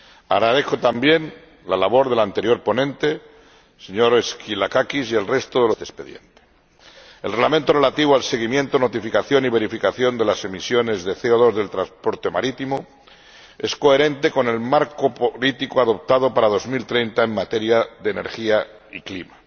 Agradezco también la labor del anterior ponente, el señor Skylakakis, y la del resto de los ponentes en la sombra de este expediente. El Reglamento relativo al seguimiento, notificación y verificación de las emisiones de CO2 del transporte marítimo es coherente con el marco político adoptado para 2030 en materia de energía y clima.